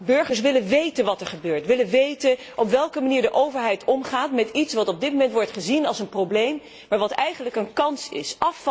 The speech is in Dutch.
Burgers willen weten wat er gebeurt, willen weten op welke manier de overheid omgaat met iets wat op dit moment wordt gezien als een probleem, maar wat eigenlijk een kans is.